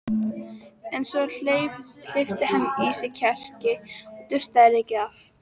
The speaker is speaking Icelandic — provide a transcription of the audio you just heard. En svo hleypti hann í sig kjarki, dustaði rykið af